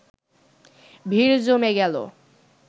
ভিড় জমে গেল